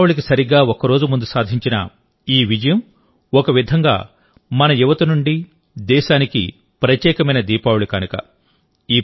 దీపావళికి సరిగ్గా ఒక్కరోజు ముందు సాధించిన ఈ విజయం ఒక విధంగా మన యువత నుండి దేశానికి ప్రత్యేకమైన దీపావళి కానుక